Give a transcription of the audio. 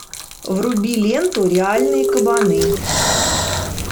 вруби ленту реальные кабаны